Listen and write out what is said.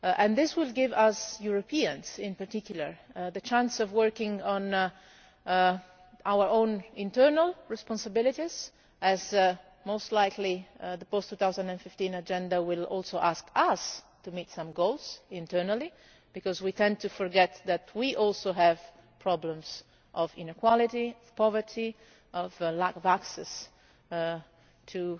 This will give us Europeans, in particular, the chance to work on our own internal responsibilities, as most likely the post 2015 agenda will also ask us to meet some goals internally we tend to forget that we also have problems of inequality, poverty, lack of access to